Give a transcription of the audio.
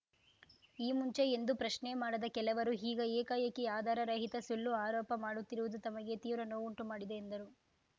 ಈ ಮುಂಚೆ ಎಂದೂ ಪ್ರಶ್ನೆ ಮಾಡದ ಕೆಲವರು ಈಗ ಏಕಾಏಕಿ ಆಧಾರ ರಹಿತ ಸುಳ್ಳು ಆರೋಪ ಮಾಡುತ್ತಿರುವುದು ತಮಗೆ ತೀವ್ರ ನೋವುಂಟು ಮಾಡಿದೆ ಎಂದರು